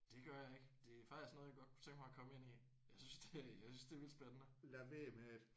Det gør jeg ikke. Det er faktisk noget jeg godt kunne tænke mig at komme ind i. Jeg synes det jeg synes det er vildt spændende